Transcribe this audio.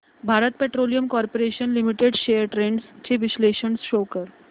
Bharat petroleum corporation limited shares trends चे विश्लेषण show कर